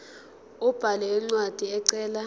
abhale incwadi ecela